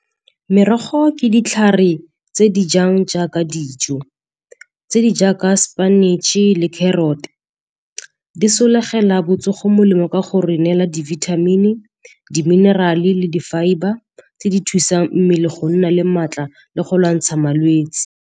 Merogo ke ditlhare tse di jang jaaka dijo tse di jaaka sepinatšhe le carrot. Di sologela botsogo molemo ka go re neela di-vitamin-e, di-mineral-e le di fibre tse di thusang mmele go nna le maatla le go lwantsha malwetse.